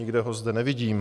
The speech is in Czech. Nikde ho zde nevidím.